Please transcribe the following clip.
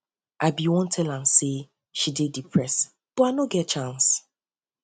i bin wan tell am say tell am say she dey depressed but i no get chance